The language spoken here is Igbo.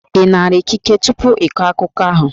Ị nara ikike tupu ị kọọ akụkọ ahụ?